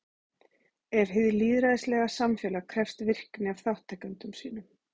En hið lýðræðislega samfélag krefst virkni af þátttakendum sínum.